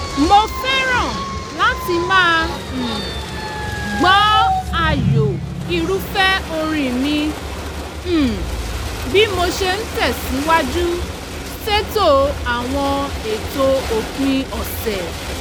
mo fẹ́ràn láti máa um gbọ́ ààyò irúfẹ́ orin mi um bí mo ṣe ń tẹ̀sìwájú ṣètò àwọn ètò òpin ọ̀sẹ̀